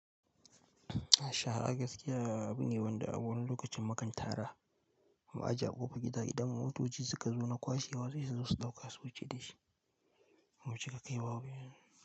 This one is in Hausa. Shara gaskiya abin ne wani lokacin mukan tara, mu aji a ƙofa gida idan motoci suka zo na kwashe sai su zusu dauka su wuce dashi, bamu cika kai waba yanxu.